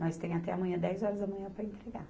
Nós temos até amanhã, dez horas da manhã para entregar.